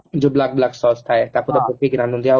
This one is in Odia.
ଯୋଉ black black Sause ଥାଏ